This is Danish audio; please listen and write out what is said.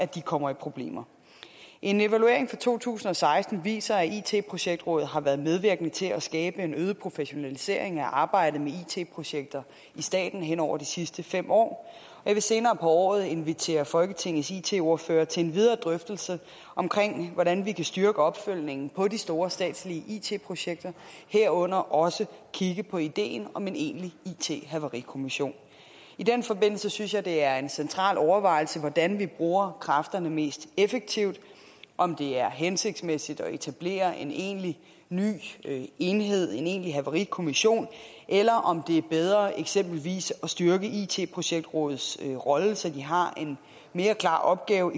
de kommer i problemer en evaluering fra to tusind og seksten viser at it projektrådet har været medvirkende til at skabe en øget professionalisering af arbejdet med it projekter i staten hen over de sidste fem år jeg vil senere på året invitere folketingets it ordførere til en videre drøftelse af hvordan vi kan styrke opfølgningen på de store statslige it projekter herunder også kigge på ideen om en egentlig it havarikommission i den forbindelse synes jeg det er en central overvejelse hvordan vi bruger kræfterne mest effektivt om det er hensigtsmæssigt at etablere en egentlig ny enhed en egentlig havarikommission eller om det er bedre eksempelvis at styrke it projektrådets rolle så de har en mere klar opgave